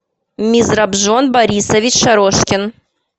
мизрабжон борисович шарошкин